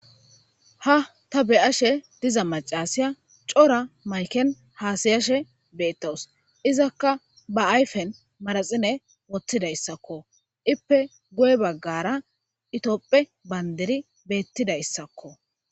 Ha ta be'ashe diza macasya coora mayiken hasa'ashe betawus izaka ba ayipen manaxire wothizaysanee ipe guye bagara itophey banidiri betizaysako